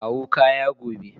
Kawo kaya gobe.